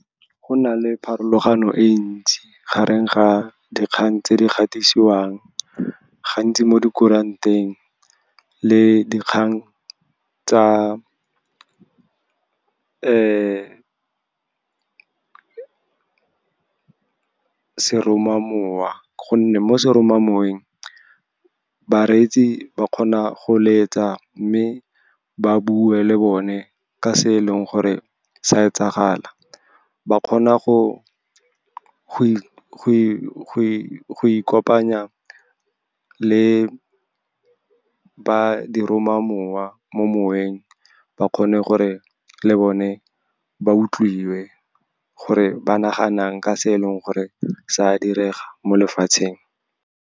Go na le pharologano e ntsi gareng ga dikgang tse di gatisiwang gantsi mo di kuranteng le dikgang tsa seromamowa, gonne mo seromamoweng bareetsi ba kgona go letsa, mme ba bue le bone ka se e leng gore sa e tsagala. Ba kgona go ikopanya le ba diromamowa mo moweng, ba kgone gore le bone ba utlwiwe gore ba nagana eng ka se e leng gore sa direga mo lefatsheng.